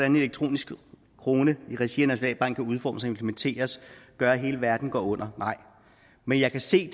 en elektronisk krone i regi af nationalbanken kan udformes og implementeres gør at hele verden går under men jeg kan se